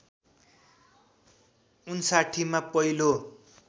०५९ मा पहिलो